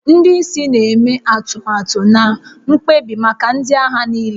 Ndị isi na-eme atụmatụ na mkpebi maka ndị agha niile